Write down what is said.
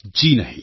જી નહીં